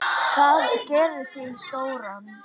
Það gerir þig stóran.